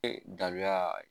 Ee dabila